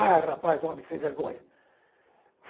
Ah, rapaz, homem, sem vergonha.